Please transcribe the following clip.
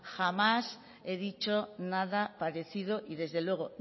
jamás he dicho nada parecido y desde luego